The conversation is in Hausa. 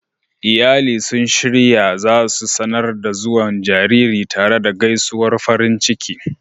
Iyali sun shirya za su sanar da zuwan jaririn tare da gaisuwar farin ciki.